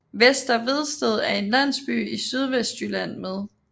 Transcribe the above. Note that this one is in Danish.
Vester Vedsted er en landsby i Sydvestjylland med